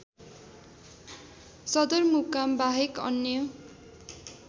सदरमुकाम बाहेक अन्य